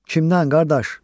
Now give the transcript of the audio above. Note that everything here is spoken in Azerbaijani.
Kimdən, qardaş?